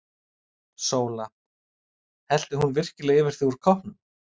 SÓLA: Hellti hún virkilega yfir þig úr koppnum!